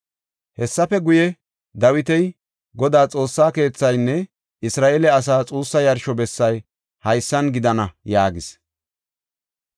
Hessafe guye, Dawiti, “Godaa Xoossaa keethaynne Isra7eele asay xuussa yarsho bessay haysan gidana” yaagis.